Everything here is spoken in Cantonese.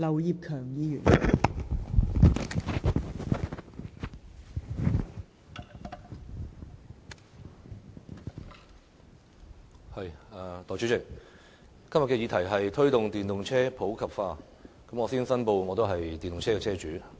代理主席，今天的議題是"推動電動車普及化"，我先申報我是電動車車主。